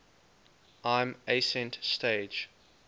lm ascent stage